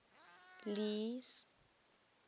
lee's